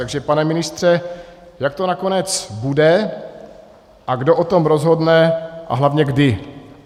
Takže pane ministře, jak to nakonec bude a kdo o tom rozhodne a hlavně kdy?